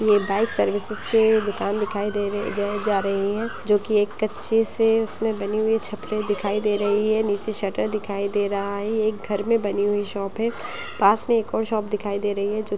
bike services के दुकान दिखाई दे रहे है दिए जा रही है जो की एक कच्चे से उसमे बनी हुई छपरे दिखाई दे रही है नीचे शटर दिखाई दे रहा है एक घर में बनी हुई शॉप है पास में एक और शॉप दिखाई दे रही है जो--